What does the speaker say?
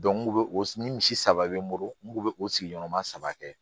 n'u o ni misi saba bɛ n bolo n kun bɛ o sigi ɲɔgɔn ma saba kɛ